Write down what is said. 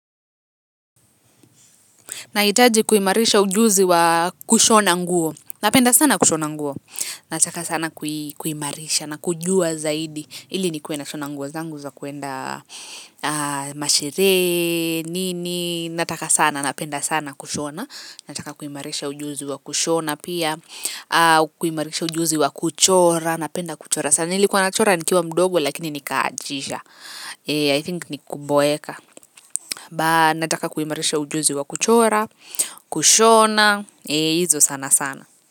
Nahitaji kuimarisha ujuzi wa kushona nguo, napenda sana kushona nguo, nataka sana kuimarisha na kujua zaidi ili nikuwe nashona nguo zangu za kwenda masherehe, nini, nataka sana, napenda sana kushona, nataka kuimarisha ujuzi wa kushona pia, kuimarisha ujuzi wa kuchora, napenda kuchora. Sana nilikuwa nachora nikiwa mdogo lakini nikaachisha I think ni kuboeka ba nataka kuimarisha ujuzi wa kuchora kushona hizo sana sana.